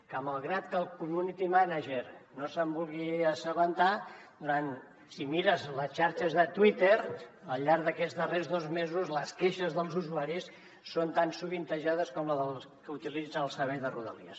que malgrat que el community manager no se’n vulgui assabentar si mires les xarxes de twitter al llarg d’aquests darrers dos mesos les queixes dels usuaris són tan sovintejades com les dels que utilitzen el servei de rodalies